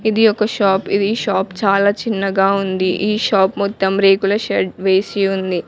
ఇది ఒక షాప్ ఇది షాప్ చాలా చిన్నగా ఉంది ఈ షాప్ మొత్తం రేకుల షెడ్ వేసి ఉంది.